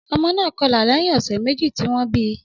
Ọmọ náà kọlà lẹ́yìn ọ̀sẹ̀ méjì tí wọ́n bí i